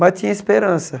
Mas tinha esperança.